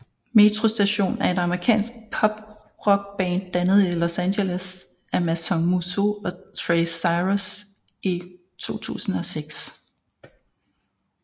Metro Station er et amerikansk pop rock band dannet i Los Angeles af Mason Musso og Trace Cyrus i 2006